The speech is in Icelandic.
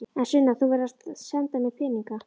En Sunna, þú verður að senda mér peninga.